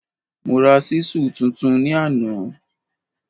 Mo ra ṣísù tuntun ní àná